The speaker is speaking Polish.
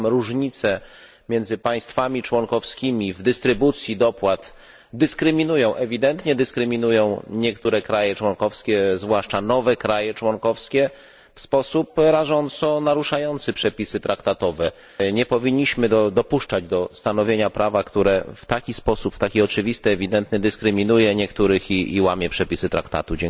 I tam różnice między państwami członkowskimi w dystrybucji dopłat dyskryminują, ewidentnie dyskryminują, niektóre kraje członkowskie, zwłaszcza nowe kraje członkowskie, w sposób rażąco naruszający przepisy traktatowe. Nie powinniśmy dopuszczać do stanowienia prawa, które w taki sposób tak oczywisty, ewidentny dyskryminuje niektórych i łamie przepisy traktatu.